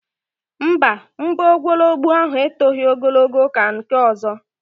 Mba, mbọ nwologbo ahụ etoghi ogologo ka nke ọzọ